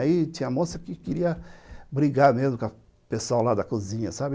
Aí tinha moça que queria brigar mesmo com o pessoal da cozinha, sabe